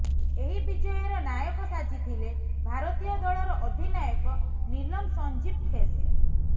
ଏହି ବିଜୟର ନାୟକ ସାଜିଥିଲେ ଭାରତୀୟ ଦଳର ଅଧିନାୟକ ନୀଲମ ସଞ୍ଜୀବ ଖେସ୍